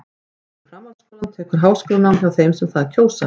Eftir framhaldsskólann tekur háskólanám við hjá þeim sem það kjósa.